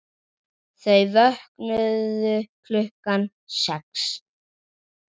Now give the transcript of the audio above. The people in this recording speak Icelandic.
Þau vöknuðu klukkan sex.